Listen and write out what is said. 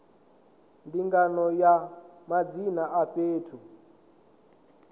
ndinganyo ya madzina a fhethu